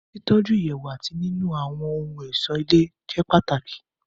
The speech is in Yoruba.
Títọ́ju Ìyẹ̀wù àti nínu àwọ́n ohun ọ̀ṣó ilé jẹ́ pàtàkì